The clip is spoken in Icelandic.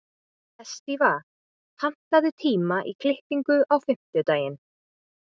Estiva, pantaðu tíma í klippingu á fimmtudaginn.